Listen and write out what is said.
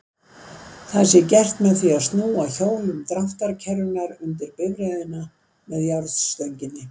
Það sé gert með því að snúa hjólum dráttarkerrunnar undir bifreiðina með járnstönginni.